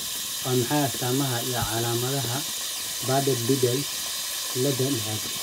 Waa maxay astamaha iyo calaamadaha Bardet Biedl ciilada liix?